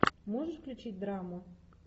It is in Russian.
можешь включить драму